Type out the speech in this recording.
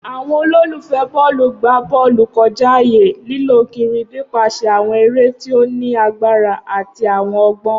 Awọn ololufẹ bọọlu gba bọọlu kọja aaye, lilọ kiri nipasẹ awọn ere ti o ni agbara ati awọn ọgbọn.